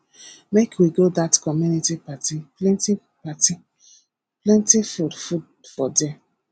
make we go dat community party plenty party plenty food full for there